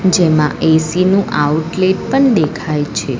જેમાં એ_સી નું આઉટલેટ પણ દેખાય છે.